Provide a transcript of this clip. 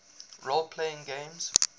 role playing games